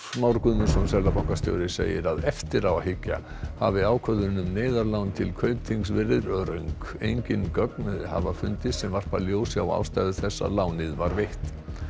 Már Guðmundsson seðlabankastjóri segir að eftir á að hyggja hafi ákvörðun um neyðarlán til Kaupþings verið röng engin gögn hafa fundist sem varpa ljósi á ástæðu þess að lánið var veitt